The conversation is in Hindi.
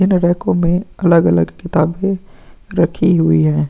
इन रेक्को मे अलग अलग किताबे रखी हुई है ।